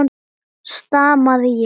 stamaði ég.